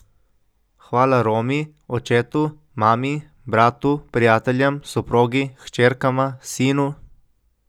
Hvala Romi, očetu, mami, bratu, prijateljem, soprogi, hčerkama, sinu ...